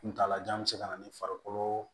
Kuntala jan bɛ se ka na ni farikolo